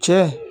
Cɛ